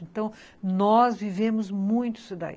Então, nós vivemos muito isso daí.